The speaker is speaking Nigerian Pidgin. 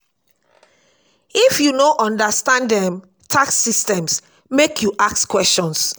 if you no understand um tax system make you ask questions.